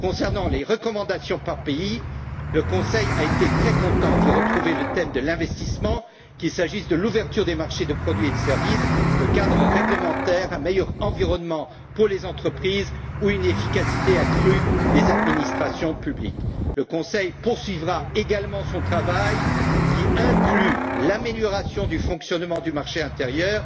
Concernant les recommandations par pays, le Conseil a été très content d'y retrouver le thème de l'investissement, qu'il s'agisse de l'ouverture des marchés de biens et de services, du cadre réglementaire, d'un meilleur environnement pour les entreprises ou d'une efficacité accrue des administrations publiques. Le Conseil poursuivra également son travail, qui inclut l'amélioration du fonctionnement du marché intérieur.